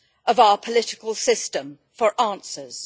of our political system for answers.